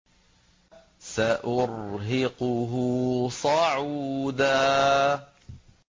سَأُرْهِقُهُ صَعُودًا